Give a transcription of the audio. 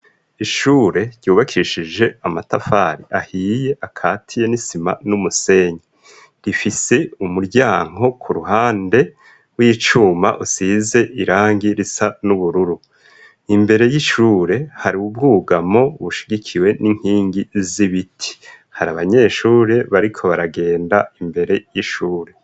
Ishure ryubakishije amatafari ahiye akatiye n'isima n'umusenyi rifise umuryanko ku ruhande w'icuma usize irangi risa n'ubururu imbere y'icure hari uwubwugamo bushigikiwe n'inkingi z'ibiti hari abanyeshure, ariko baragenda imbere y'ishure.